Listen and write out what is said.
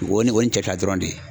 O ye o ye nin cɛ fila dɔrɔn de ye.